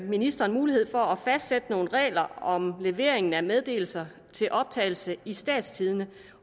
ministeren mulighed for at fastsætte nogle regler om leveringen af meddelelser til optagelse i statstidende